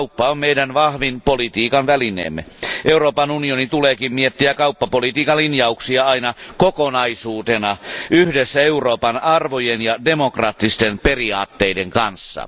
Kauppa on meidän vahvin politiikan välineemme. Euroopan unionin tuleekin miettiä kauppapolitiikan linjauksia aina kokonaisuutena yhdessä Euroopan arvojen ja demokraattisten periaatteiden kanssa.